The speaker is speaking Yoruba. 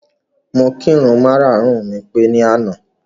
Mo kirun mara-àrùn mi pé ní àná.